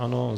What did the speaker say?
Ano.